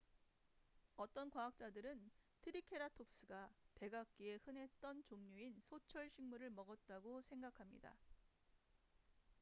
어떤 과학자들은 트리케라톱스가 백악기에 흔했던 종류인 소철 식물을 먹었다고 생각합니다